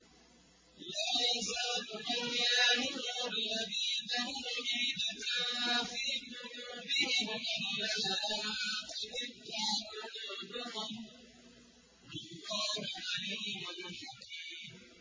لَا يَزَالُ بُنْيَانُهُمُ الَّذِي بَنَوْا رِيبَةً فِي قُلُوبِهِمْ إِلَّا أَن تَقَطَّعَ قُلُوبُهُمْ ۗ وَاللَّهُ عَلِيمٌ حَكِيمٌ